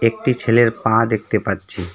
একটি ছেলের পা দেখতে পাচ্ছি।